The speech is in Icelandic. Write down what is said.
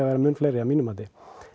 vera mun fleiri að mínu mati